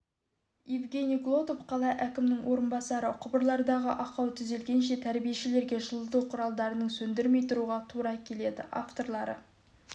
евгений глотов қала әкімнің орынбасары құбырлардағы ақау түзелгенше тәрбиешілерге жылыту құрылғыларын сөндірмей тұруға тура келеді авторлары